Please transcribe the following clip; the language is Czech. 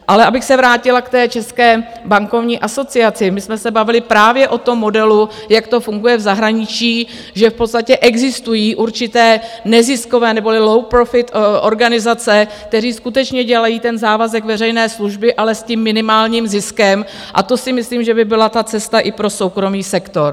Ale abych se vrátila k té České bankovní asociaci, my jsme se bavili právě o tom modelu, jak to funguje v zahraničí, že v podstatě existují určité neziskové neboli low-profit organizace, které skutečně dělají ten závazek veřejné služby, ale s tím minimálním ziskem a to si myslím, že by byla ta cesta i pro soukromý sektor.